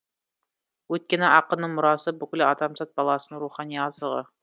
өйткені ақынның мұрасы бүкіл адамзат баласының рухани азығы